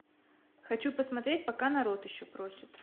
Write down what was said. хочу посмотреть пока народ еще просит